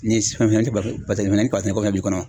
Ni ni kabasɛnɛko fɛnɛ b'i kɔnɔ